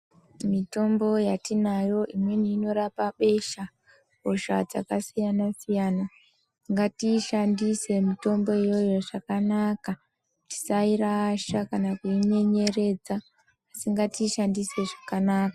Mitombo yatinayo imweni inorapa besha besha rakasiyana siyana ngatiishandise mitombo iyoyo zvakanaka tisairasha kana kuinenereredza asi ngatiishandise zvakanaka.